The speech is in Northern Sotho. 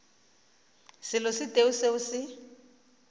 selo se tee seo se